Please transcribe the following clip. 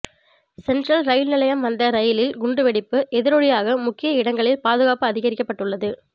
central rail நிலையம் வந்த ரயிலில் குண்டு வெடிப்பு எதிரொலியாக முக்கிய இடங்களில் பாதுகாப்பு அதிகரிக்கப்பட்டுள்ளது